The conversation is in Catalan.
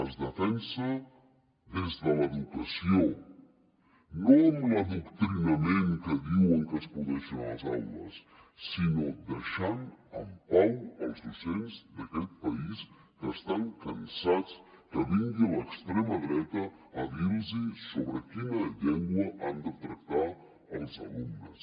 es defensa des de l’educació no amb l’adoctrinament que diuen que es produeix a les aules sinó deixant en pau els docents d’aquest país que estan cansats que vingui l’extrema dreta a dir los amb quina llengua han de tractar els alumnes